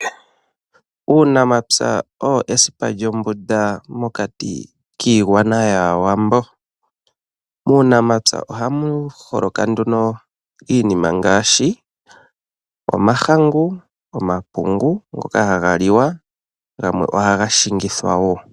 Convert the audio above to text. Uunamapya owo esipa lyombunda mokati kiigwana yAawambo. Muunamapya ohamu holoka iinima ngaashi: omahangu, omapungu ngoka haga liwa gamwe ohaga shingithwa wo.